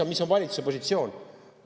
Ja mis on valitsuse positsioon?